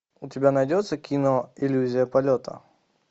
у тебя найдется кино иллюзия полета